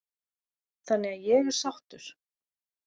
Þannig að ég er sáttur.